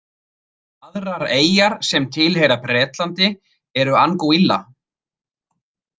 Aðrar eyjar sem tilheyra Bretlandi eru Anguilla.